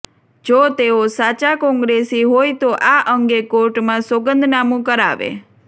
જો તેઓ સાચા કોંગ્રેસી હોય તો આ અંગે કોર્ટમાં સોગંદનામું કરાવે